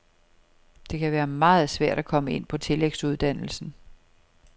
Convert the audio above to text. Det kan være meget svært at komme ind på tillægsuddannelsen.